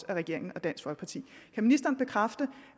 regeringen og dansk folkeparti kan ministeren bekræfte